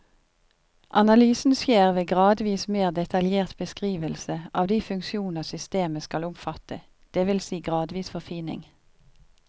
Analysen skjer ved gradvis mer detaljert beskrivelse av de funksjoner systemet skal omfatte, det vil si gradvis forfining.